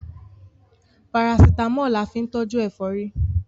Parasítámọ̀ la fín tọ́jú ẹ̀fọ́rí